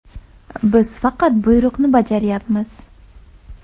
Biz faqat buyruqni bajaryapmiz.